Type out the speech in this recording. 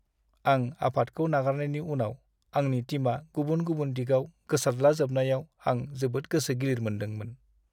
आं आफादखौ नागारनायनि उनाव आंनि टिमआ गुबुन गुबुन दिगआव गोसारद्लाजोबनायाव आं जोबोद गोसो गिलिर मोनदोंमोन।